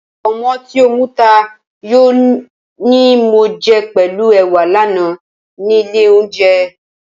Pọ̀nmọ́ tí ó muta yó ni mo jẹ pẹ̀lú ẹwà lánàá nílé olóunjẹ